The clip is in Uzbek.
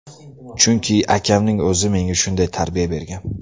Chunki akamning o‘zi menga shunday tarbiya bergan.